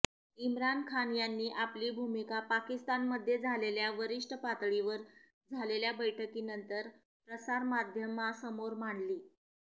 इम्रान खान यांनी आपली भूमिका पाकिस्तानमध्ये झालेल्या वरिष्ठ पातळीवर झालेल्या बैठकीनंतर प्रसारमाध्यमांसमोर मांडली